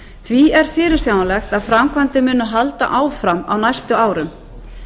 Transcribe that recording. því er fyrirsjáanlegt að framkvæmdir munu halda áfram á næstu árum